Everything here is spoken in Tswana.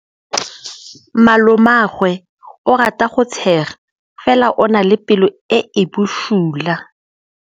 Malomagwe o rata go tshega fela o na le pelo e e bosula.